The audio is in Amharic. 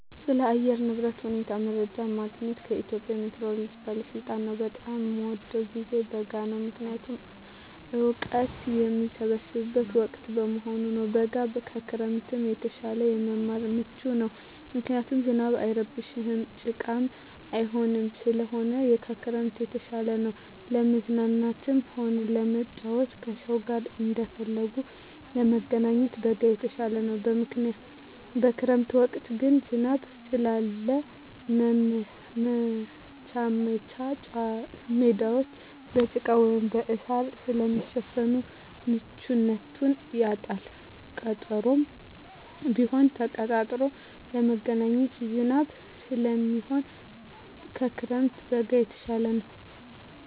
ስለ አየር ንብረት ሁኔታ መረጃ የማገኘዉ ከኢትዮጵያ ሜትሮሎጂ ባለስልጣን ነዉ። በጣም የምወደዉ ጊዜ በጋ ነዉ ምክንያቱም እወቀት የምሰበስብበት ወቅት በመሆኑ ነዉ። በጋ ከክረምት የተሻለ ለመማር ምቹ ነዉ ምክንያቱም ዝናብ አይረብሽም ጭቃም አይኖርም ስለዚህ ከክረምት የተሻለ ነዉ። ለመዝናናትም ሆነ ለመጫወት ከሰዉ ጋር እንደፈለጉ ለመገናኘት በጋ የተሻለ ነዉ። በክረምት ወቅት ግን ዝናብ ስላለ መቻወቻ ሜዳወች በጭቃ ወይም በእሳር ስለሚሸፈን ምቹነቱን ያጣል ቀጠሮም ቢሆን ተቀጣጥሮ ለመገናኘት ዝናብ ስለሚሆን ከክረምት በጋ የተሻለ ነዉ።